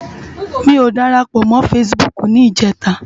Mi ó dárápò mò fãsibúk nijètá